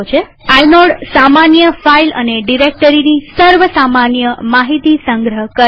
inode સામાન્ય file અને ડિરેક્ટરીની સર્વ સામાન્ય માહિતી સંગ્રહ કરે છે